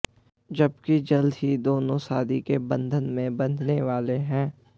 जबकि जल्द ही दोनों शादी के बंधन में बंधने वाले हैं